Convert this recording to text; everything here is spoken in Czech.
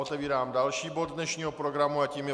Otevírám další bod dnešního programu a tím je